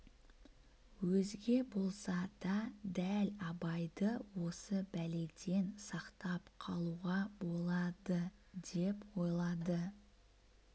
өзге болса да дәл абайды осы бәледен сақтап қалуға болады деп ойлайды